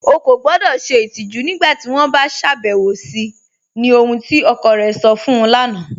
Ọ̀ kọ gbọdọ́ ṣẹ itijù nígbàtí wọn bá ṣàbẹwọ̀ sí ni ohun tí ọkọ̀ rẹ̀ sọ̀ fún u lána